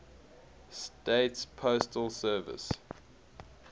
states postal service